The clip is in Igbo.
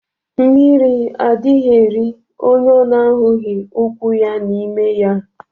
Mmiri adighi eri onye ọ na ahughi ukwu ya n'ime ya.